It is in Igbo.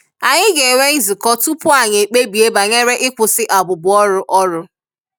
Anyị ga-enwe nzukọ tupu anyị ekpebie banyere ịkwụsị abụbu ọrụ ọrụ